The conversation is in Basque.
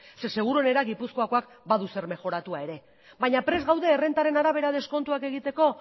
zeren seguruenera gipuzkoakoak badu zer mejoratua ere baina prest gaude errentaren arabera deskontuak egiteko